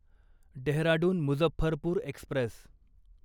Dehradun Muzaffarpur Express